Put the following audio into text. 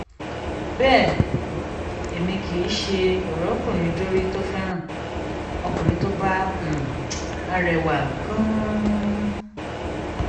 bẹ́ẹ̀ èmi kì í um ṣe o-ròkunrin-dorí tó fẹ́ràn um ọkùnrin tó bá bá rẹwà gan-an